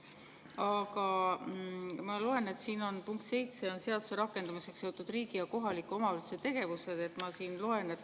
Aga ma loen siit punkti 7: "Seaduse rakendamisega seotud riigi ja kohaliku omavalitsuse tegevused.